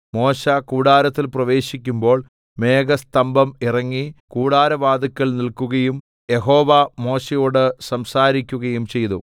മോശെ കൂടാരത്തിൽ പ്രവേശിക്കുമ്പോൾ മേഘസ്തംഭം ഇറങ്ങി കൂടാരവാതിൽക്കൽ നില്‍ക്കുകയും യഹോവ മോശെയോട് സംസാരിക്കുകയും ചെയ്തു